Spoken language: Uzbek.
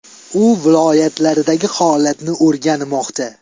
U viloyatlardagi holatni o‘rganmoqda.